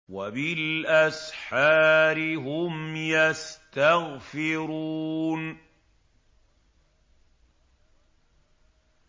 وَبِالْأَسْحَارِ هُمْ يَسْتَغْفِرُونَ